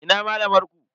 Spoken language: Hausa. Ina malamar ku?